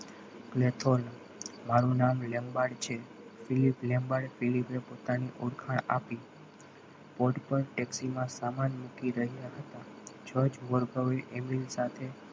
લેથન મારું નામ છે પોતાની ઓળખાણ આપી pot પર taxi માં સામાન મૂકી રહ્યા હતા જજવલ ઘરે એમની સાથે